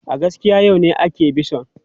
A gaskiya, yau ne ake bison.